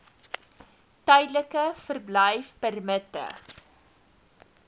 tydelike verblyfpermitte